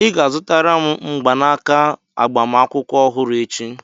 Ị ga-azụtara m mgbanaka agbamakwụkwọ ọhụrụ echi!